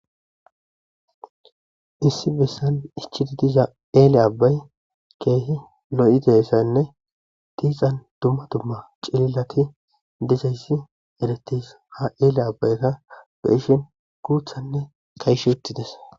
Issi bessan shiiqidi diza abbay keehi lo7izayssane ha abbaza lanqera summa dumma cililoti de'eetes. he ella abayika